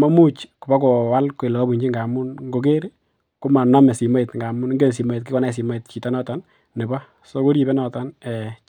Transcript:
maimuch koboko waal kole kabunchi ngamun komaname simoit ngamun kikonai chito noton nebo so koribe noton chito.